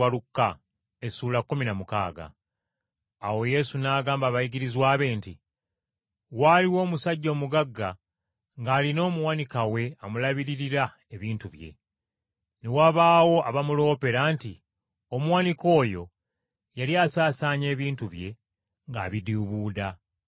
Awo Yesu n’agamba abayigirizwa be nti, “Waaliwo omusajja omugagga ng’alina omuwanika we amulabiririra ebintu bye. Ne wabaawo abaamuloopera nti omuwanika oyo yali asaasaanya ebintu bye, ng’abidiibuuda.